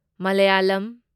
Malayalam